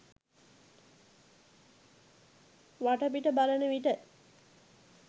වටපිට බලන විට